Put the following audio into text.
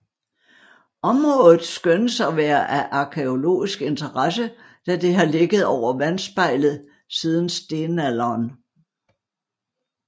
Området skønnes af være af arkæologisk interesse da det har ligget over vandspejlet siden stenalderen